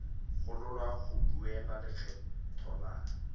gololwa go duela lekgetho la